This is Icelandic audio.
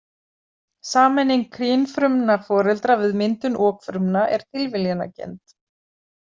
Sameining kynfrumna foreldra við myndun okfrumna er tilviljanakennd.